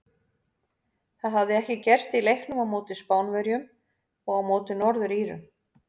Það hafði ekki gerst í leiknum á móti Spánverjum og á móti Norður Írum.